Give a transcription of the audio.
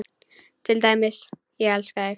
Til dæmis: Ég elska þig.